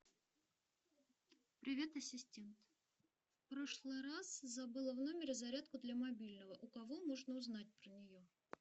привет ассистент в прошлый раз забыла в номере зарядку для мобильного у кого можно узнать про нее